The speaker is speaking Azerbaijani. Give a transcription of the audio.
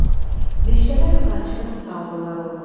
Meşədən qaçqın saldılar onu.